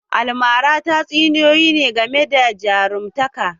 Almara tatsuniyoyi ne game da jarumtaka